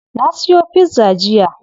Na siyo pizza jiya?